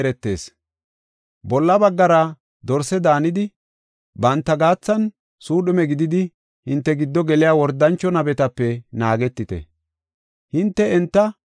“Bolla baggara dorse daanidi banta gaathan suudhume gididi hinte giddo geliya wordancho nabetape naagetite. Dorsenne Suudhuma